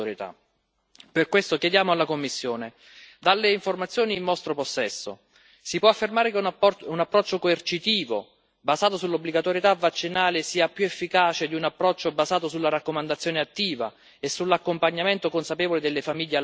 Per questo chiediamo alla Commissione dalle informazioni in vostro possesso si può affermare che un approccio coercitivo, basato sull'obbligatorietà vaccinale, sia più efficace di un approccio basato sulla raccomandazione attiva e sull'accompagnamento consapevole delle famiglie alla vaccinazione?